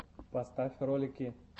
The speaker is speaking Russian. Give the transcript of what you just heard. поставь ролики